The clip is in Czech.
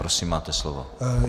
Prosím, máte slovo.